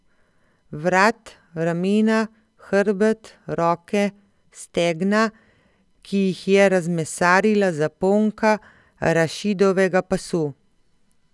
Vrat, ramena, hrbet, roke, stegna, ki jih je razmesarila zaponka Rašidovega pasu.